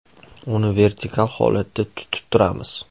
Uni vertikal holatda tutib turamiz.